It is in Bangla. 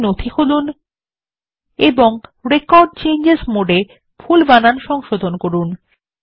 একটি নথি খুলুন এবং রেকর্ড চেঞ্জেস মোডে ভুল বানান সংশোধন করুন